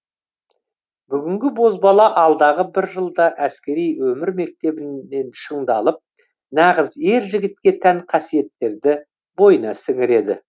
бүгінгі бозбала алдағы бір жылда әскери өмір мектебінен шыңдалып нағыз ер жігітке тән қасиеттерді бойына сіңіреді